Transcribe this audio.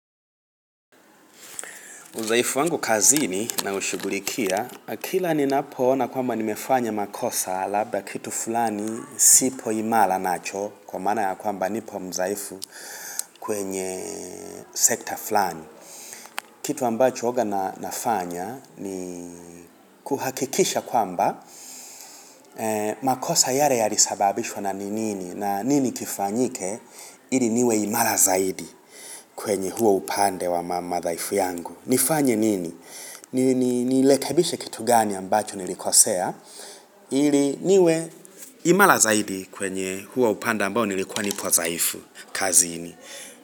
Udhaifu wangu kazini naushugulikia. Na kila ninapo ona kwamba nimefanya makosa labda kitu fulani sipo imara nacho. Kwa maana ya kwamba nipo mdhaifu kwenye sekta fulani. Kitu ambacho huwaga nafanya ni kuhakikisha kwamba makosa yale yalisababishwa na ni nini. Na nini kifanyike ili niwe imara zaidi kwenye huo upande wa madhaifu yangu. Nifanye nini? Nirekebishe kitu gani ambacho nilikosea ili niwe imara zaidi kwenye huo upande ambao nilikuwa nipo dhaifu kazini.